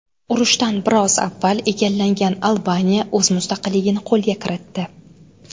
Urushdan biroz avval egallangan Albaniya o‘z mustaqilligini qo‘lga kiritdi.